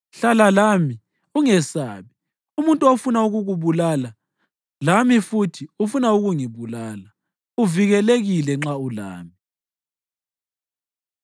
Hlala lami; ungesabi; umuntu ofuna ukukubulala lami futhi ufuna ukungibulala. Uvikelekile nxa ulami.”